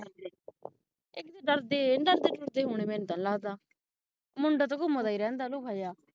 ਡਰਦੇ ਇਹ ਨਹੀਂ ਡਰਦੇ ਡੁਰਦੇ ਹੋਣੇ ਮੈਨੂ ਤੇ ਨਹੀਂ ਲਗਦਾ ਮੁੰਡਾ ਤੇ ਘੁੰਮਦਾ ਹੀ ਰਹਿੰਦਾ ਨੂੰਆ ਜਿਹਾ